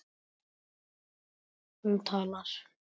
Hún talar.